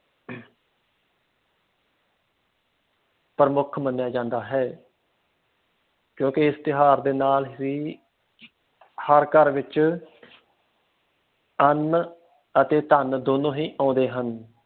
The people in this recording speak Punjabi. ਪ੍ਰਮੁੱਖ ਮੰਨਿਆ ਜਾਂਦਾ ਹੈ ਕਿਉਕਿ ਇਸ ਤਿਓਹਾਰ ਦੇ ਨਾਲ ਹੀ ਹਰ ਘਰ ਵਿਚ ਅੰਨ ਅਤੇ ਧਨ ਦੋਨੋਂ ਹੀ ਆਉਦੇ ਹਨ।